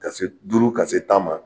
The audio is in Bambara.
Ka se duuru ka se tan ma